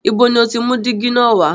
Ibo ni o ti mú dígí na wá?